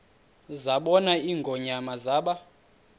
zabona ingonyama zaba